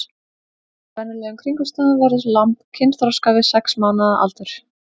Undir venjulegum kringumstæðum verður lamb kynþroska við sex mánaða aldur.